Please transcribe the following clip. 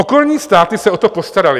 Okolní státy se o to postaraly.